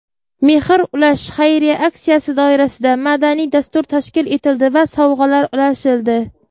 "Mehr ulash" xayriya aksiyasi doirasida madaniy dastur tashkil etildi va sovg‘alar ulashildi.